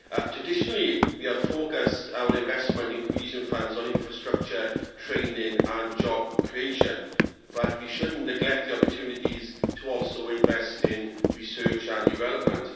Traditionally, we have focused our investment in cohesion funds on infrastructure, training and job creation, but we should not neglect the opportunities to also invest in research and development.